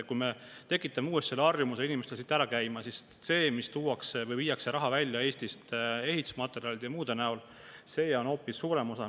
Kui me tekitame uuesti inimestes harjumuse siit ära käia, siis raha, mida viiakse raha välja Eestist ehitusmaterjalide ja muude asjade eest välja, on hoopis rohkem.